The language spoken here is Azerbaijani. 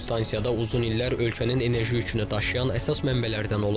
Bu stansiyada uzun illər ölkənin enerji yükünü daşıyan əsas mənbələrdən olub.